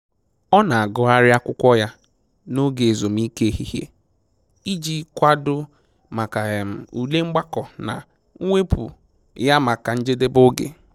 Ọ na agụgharị akwụkwọ ya na oge ezumike ehihie, iji kwado maka ule mgbakọ na mwepụ ya maka njedebe oge